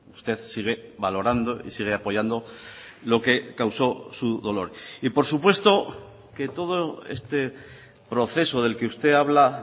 usted sigue valorando y sigue apoyando lo que causó su dolor y por supuesto que todo este proceso del que usted habla